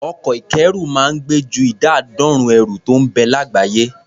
Ọkọ̀ ìkẹ́rù máa ń gbé ju ìdá àádọ́rùn-ún ẹrù tó ń bẹ lágbàáyé.